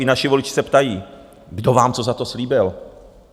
i naši voliči se ptají: Kdo vám co za to slíbil?